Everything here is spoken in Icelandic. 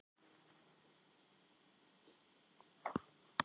Gillý, hvernig verður veðrið á morgun?